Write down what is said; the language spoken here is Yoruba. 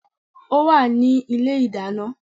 Ó wà ní ilé ìdáná